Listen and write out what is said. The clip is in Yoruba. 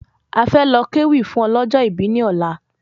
A fẹ́ lọ ké wí fún ọlọ́jọ̀ ibí ní ọ̀la